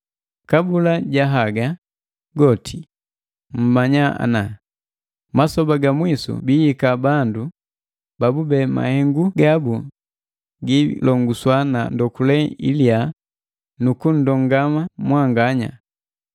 Kabula ja haga goti mmanya ana, masoba ga mwisu biihika bandu babube mahengu gabu giilongoswa na ndokule iliya nuku nndongama mwanganya,